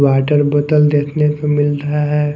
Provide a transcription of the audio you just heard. Water बोतल देखने को मिल रहा है।